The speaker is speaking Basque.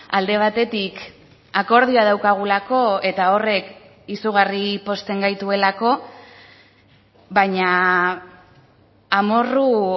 alde batetik akordioa daukagulako eta horrek izugarri pozten gaituelako baina amorru